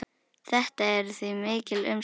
Þetta eru því mikil umsvif.